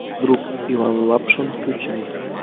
друг иван лапшин включай